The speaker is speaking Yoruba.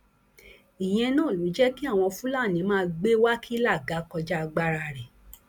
ìyẹn náà ló jẹ kí àwọn fúlàní máa gbé wákílà ga kọjá agbára rẹ